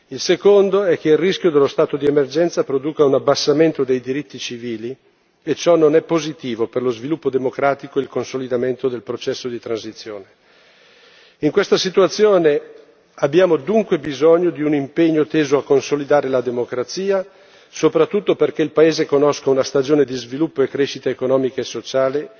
Il secondo è che il rischio dello stato di emergenza produca un abbassamento dei diritti civili e ciò non è positivo per lo sviluppo democratico e il consolidamento del processo di transizione. In questa situazione abbiamo dunque bisogno di un impegno teso a consolidare la democrazia, soprattutto perché il paese conosca una stagione di sviluppo e crescita economica e sociale,